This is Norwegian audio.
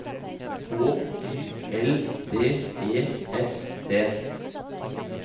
H Y L D E S T